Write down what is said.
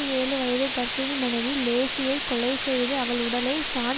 ஏழு வயது கர்ப்பிணி மனைவி லேசியைக் கொலை செய்து அவள் உடலை சான்